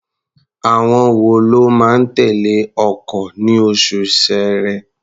Àwọn wo ló máa tẹ̀lé ọkọ̀ ní oṣù Ṣẹẹrẹ?